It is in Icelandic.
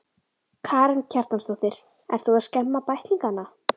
Karen Kjartansdóttir: Ert þú að skemma bæklingana?